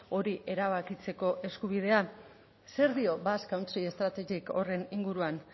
hori erabakitzeko eskubidea zer dio basque country strategyk horren inguruan